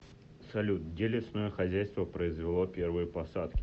салют где лесное хозяйство произвело первые посадки